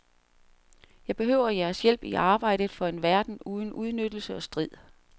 Jeg behøver jeres hjælp i arbejdet for en verden uden udnyttelse og strid.